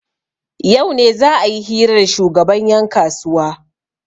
yau ne za a yi hira da shugaban yankasuwa